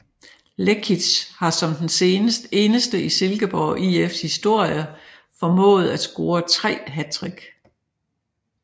Lekic har som den eneste i Silkeborg IFs historie formået at score tre hattrick